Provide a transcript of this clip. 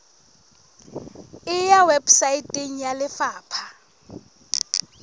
e ya weposaeteng ya lefapha